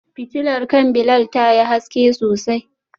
Fitilar kan Bilal tayi haske sosai.